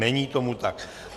Není tomu tak.